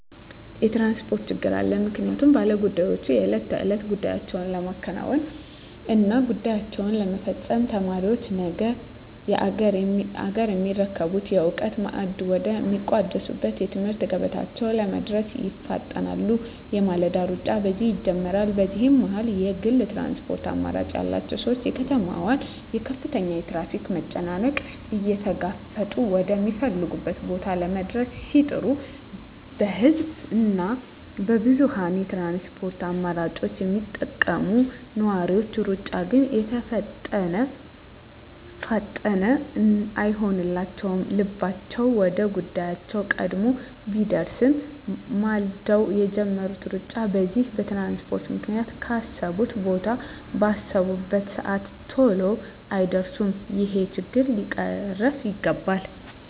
የትራንስፖርት ችግር አለ ምክንያቱም ባለ ጉዳዮች የእለት ተእለት ጉዳያቸዉን ለማከናወን እና ጉዳያቸዉን ለመፈፀም፣ ተማሪዎች ነገ አገርየሚረከቡበትን የእዉቀት ማዕድ ወደ ሚቋደሱበት የትምህርት ገበታቸዉ ለመድረስ ይፋጠናሉ የማለዳዉ ሩጫ በዚህ ይጀምራል በዚህ መሀል የግል ትራንስፖርት አማራጭ ያላቸዉ ሰዎች የከተማዋን ከፍተኛ የትራፊክ መጨናነቅ እየተጋፈጡ ወደ ሚፈልጉት ቦታ ለመድረስ ሲጥሩ በህዝብ እና በብዙኀን የትራንስፖርት አማራጮች የሚጠቀሙ ነዋሪዎች ሩጫ ግን የተፋጠነ አይሆንላቸዉም ልባቸዉ ወደ ጉዳያቸዉ ቀድሞ ቢደርስም ማልደዉ የጀመሩት ሩጫ በዚህ በትራንስፖርት ምክንያት ካሰቡት ቦታ ባሰቡበት ሰአት ተሎ አይደርሱም ይሄ ችግር ሊቀረፍ ይገባል